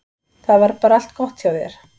Það var bara allt gott hjá þér.